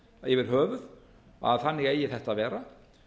yfir höfuð að þannig eigi þetta að vera